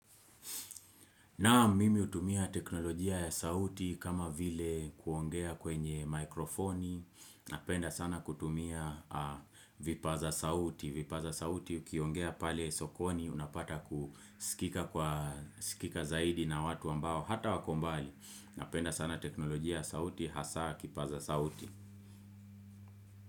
Naam, mimi utumia teknolojia ya sauti kama vile kuongea kwenye mikrofoni, napenda sana kutumia vipaza sauti, vipaza sauti ukiongea pale sokoni unapata kusikika zaidi na watu ambao hata wako mbali, napenda sana teknolojia ya sauti, hasa kipaza sauti.